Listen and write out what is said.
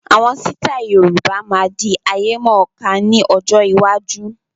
Àwọn sítai Yorùbá máa di ayemọ̀ká ni ọjọ́ iwájú.